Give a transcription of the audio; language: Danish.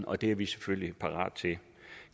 og det er vi selvfølgelig parate til